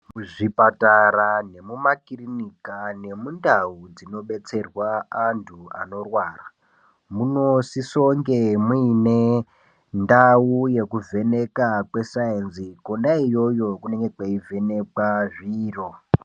Kuzvipatara nekumakiriniki nemundau nemundau dzinobetserwa andu anorwara, munosisonge muine ndau yekuzeneka kwesaenzi kwena iyoyo kunenge kweivhenekwa zviro.